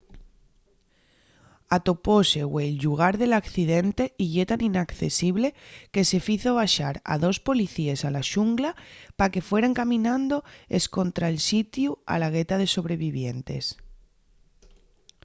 atopóse güei’l llugar del accidente y ye tan inaccesible que se fizo baxar a dos policíes a la xungla pa que fueran caminando escontra’l sitiu a la gueta de sobrevivientes